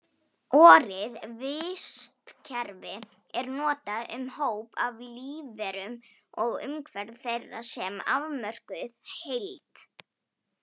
Orið vistkerfi er notað um hóp af lífverum og umhverfi þeirra sem afmörkuð heild.